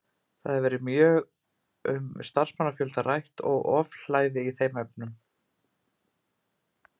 Það hefur verið mjög um starfsmannafjölda rætt og ofhlæði í þeim efnum.